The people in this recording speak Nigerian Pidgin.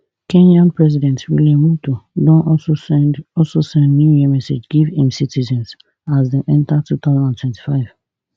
kenyan president william ruto don also send also send new year message give im citizens as dem enta two thousand and twenty-five